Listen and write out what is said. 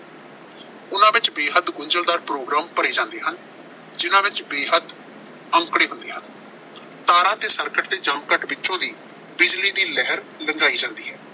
ਉਨ੍ਹਾਂ ਵਿੱਚ ਬੇਹੱਦ ਗੁੰਝਲਦਾਰ ਪ੍ਰੋਗਰਾਮ ਭਰੇ ਜਾਂਦੇ ਹਨ, ਜਿਨ੍ਹਾਂ ਵਿੱਚ ਬੇਹੱਦ ਅੰਕੜੇ ਹੁੰਦੇ ਹਨ। ਤਾਰਾਂ ਤੇ ਸਰਕਟ ਦੇ ਵਿੱਚੋਂ ਦੀ ਬਿਜਲੀ ਦੀ ਲਹਿਰ ਲੰਘਾਈ ਜਾਂਦੀ ਹੈ।